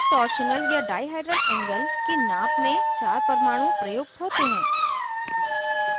torsional या dihedral angle की नाप में चार परमाणु प्रयुक्त होते हैं